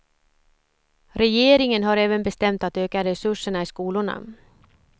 Regeringen har även bestämt att öka resurserna i skolorna.